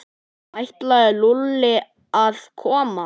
Ætlaði Lúlli að koma?